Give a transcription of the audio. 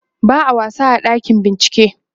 ba'a wasa a ɗakin bincike